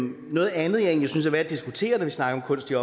noget andet jeg synes at diskutere når vi snakker om kunst i